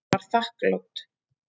Hún var þakklát.